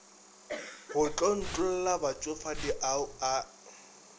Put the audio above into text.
go tlontlolla batšofadi ao a